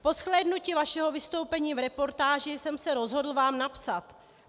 Po zhlédnutí vašeho vystoupení v reportáži jsem se rozhodl vám napsat.